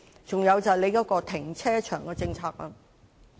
此外，就是政府的停車場政策。